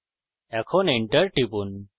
এখন enter টিপুন